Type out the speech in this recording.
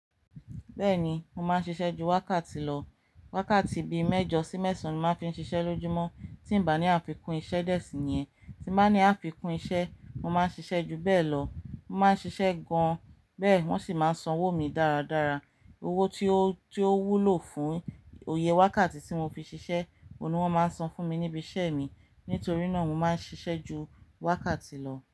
Bẹ́ẹ̀ni, mo máa ń ṣiṣẹ́ ju wákàtí lọ. Wákàtí bi mẹ́jọ sí mẹ́sàn án ni máa ń fi ń ṣiṣẹ́ lójúmọ́ tí ń ba ní àfikún iṣẹ́ dẹ́ẹ̀sì yẹn. Ti ba ní àfikún iṣẹ́, mo máa ń ṣiṣẹ́ ju bẹ́ẹ̀ lọ. Mo máa ń ṣiṣẹ́ gan an, bẹ́ẹ̀ wọ́n sì máa ń san owó mi dáradára. Owó tí ó, tí ó wúlò fún iyè wákàtí tí mo fi ṣiṣẹ́, òun ni wọ́n máa ń san fún mi níbi iṣẹ́ mi. Nítorí náà mo máa ń ṣiṣẹ́ ju wákàtí lọ.